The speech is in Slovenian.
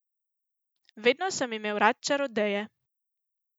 Vedno sem imel rad čarodeje.